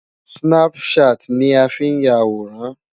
Snapchat ni a fi ń ya àwòrán.